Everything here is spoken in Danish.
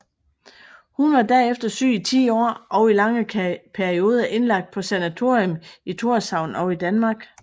Hun var derefter syg i ti år og i lange perioder indlagt på sanatorium i Tórshavn og i Danmark